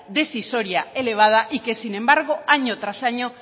decisoria elevada y que sin embargo año tras año